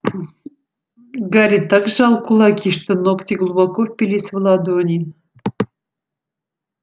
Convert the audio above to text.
гарри так сжал кулаки что ногти глубоко впились в ладони